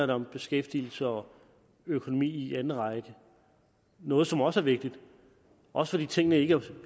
det om beskæftigelse og økonomi i anden række noget som også er vigtigt også fordi tingene ikke er